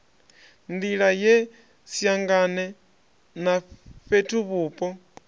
nḓila ye siangane na fhethuvhupo